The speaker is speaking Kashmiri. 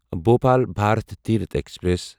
بھوپال بھارت تیٖرتھ ایکسپریس